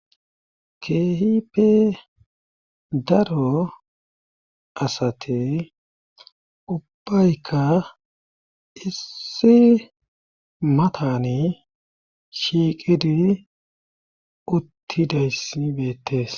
Keehipe daro asate ubbaykka issi matani shiiqidi uttidayssibeettes.